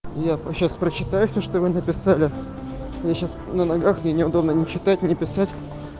я сейчас прочитаю всё что вы написали я сейчас на ногах мне неудобно ни читать ни писать